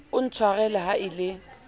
o ntshwarele ha e le